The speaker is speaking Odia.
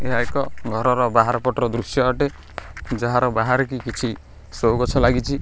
ଏହା ଏକ ଘରର ବାହାର ପଟର ଦୃଶ୍ୟ ଅଟେ ଯାହାର ବାହାରେକି କିଛି ଶୋ ଗଛ ଲାଗିଛି।